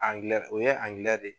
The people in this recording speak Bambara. Angilɛ o ye angilɛ de